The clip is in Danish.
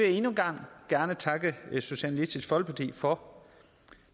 endnu en gang gerne takke socialistisk folkeparti for